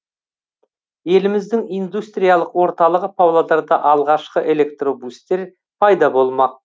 еліміздің индустриялық орталығы павлодарда алғашқы электробустер пайда болмақ